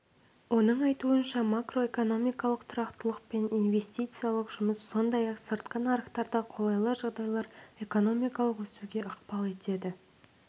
оның айтуынша макроэкономикалық тұрақтылық пен инвестициялық жұмыс сондай-ақ сыртқы нарықтарда қолайлы жағдайлар экономикалық өсуге ықпал етеді